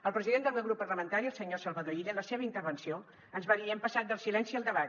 el president del meu grup parlamentari el senyor salvador illa en la seva intervenció ens va dir hem passat del silenci al debat